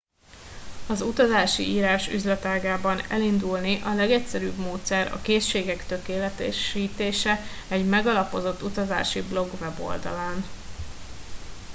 az utazási írás üzletágában elindulni a legegyszerűbb módszer a készségek tökéletesítése egy megalapozott utazási blog weboldalán